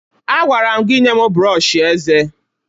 Agwara m gị nye m brọọshị eze!